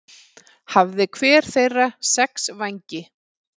Hafði hver þeirra sex vængi.